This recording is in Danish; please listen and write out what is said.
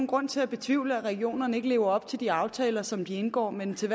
grund til at betvivle at regionerne lever op til de aftaler som de indgår med den til